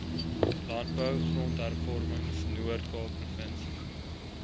landbou grondhervormingnoordkaap provinsie